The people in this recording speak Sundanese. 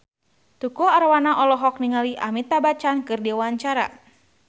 Tukul Arwana olohok ningali Amitabh Bachchan keur diwawancara